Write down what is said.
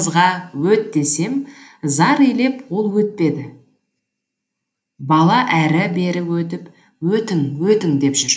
қасымдағы қызға өт десем зар илеп ол өтпеді бала әрі бері өтіп өтің өтің деп жүр